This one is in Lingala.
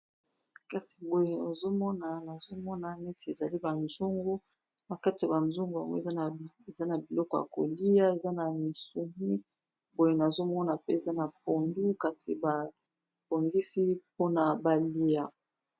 Kasi boye azomona nazomona neti ezali banzongo bakati ya banzongo, yango eza na biloko ya kolia eza na misumi boye nazomona pe eza na pondu kasi babongisi mpona balia